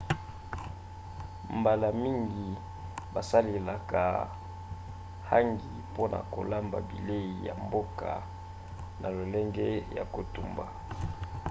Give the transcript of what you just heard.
mbala mingi basalelaka hangi mpona kolamba bilei ya mboka na lolenge ya kotumba